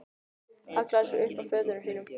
Hallaði sér upp að fötunum sínum.